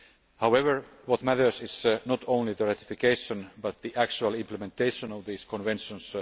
However, what matters is not only the ratification but the actual implementation of these conventions.